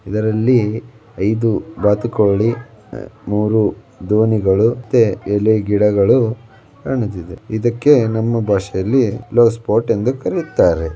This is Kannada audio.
ಇದರಲ್ಲಿ ಐದು ಬಾತುಕೋಳಿ ಆಹ್ ಮೂರು ದೋಣಿಗಳು ಮತ್ತೆ ಎಲೆಗಿಡಗಳು ಕಾಣುತ್ತಿದೆ. ಇದಕ್ಕೆ ನಮ್ಮ ಭಾಷೆಯಲ್ಲಿ ಪಾಟ್ ಎಂದು ಕರೆಯುತ್ತಾರೆ.